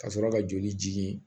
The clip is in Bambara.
Ka sɔrɔ ka joli jigin